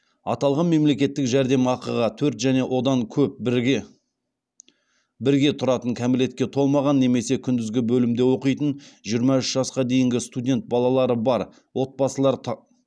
аталған мемлекеттік жәрдемақыға төрт және одан көп бірге тұратын кәмелетке толмаған немесе күндізгі бөлімде оқитын жиырма үш жасқа дейінгі студент балалары бар